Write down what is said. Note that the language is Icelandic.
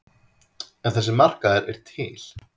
En þessi markaður er til.